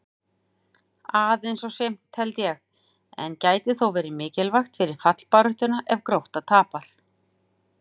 Aðeins of seint, held ég, en gæti þó verið mikilvægt fyrir fallbaráttuna ef Grótta tapar!